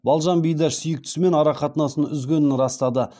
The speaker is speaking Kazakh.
балжан бидаш сүйіктісімен арақатынасын үзгенін растады